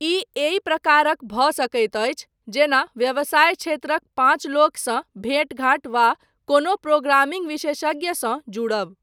ई एहि प्रकारक भऽ सकैत अछि जेना व्यवसाय क्षेत्रक पाँच लोकसँ भेटघाट वा कोनो प्रोग्रामिंग विशेषज्ञसँ जुड़ब।